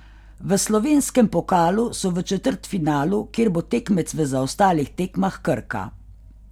V slovenskem pokalu so v četrtfinalu, kjer bo tekmec v zaostalih tekmah Krka.